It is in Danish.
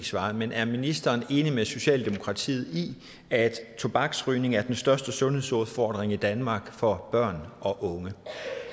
svar men er ministeren enig med socialdemokratiet i at tobaksrygning er den største sundhedsudfordring i danmark for børn og unge